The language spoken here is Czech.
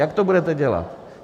Jak to budete dělat?